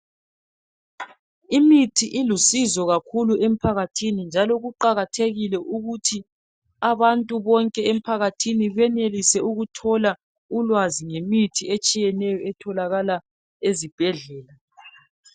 Imithi ilusizo kakhulu emphakathini njalo kuqakathekile ukuthi abantu bonke emphakathini benelise ukuthola ulwazi ngemithi etshiyeneyo etholakala ezibhedlela.